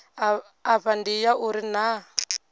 afha ndi ya uri naa